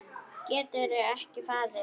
Geturðu ekki farið?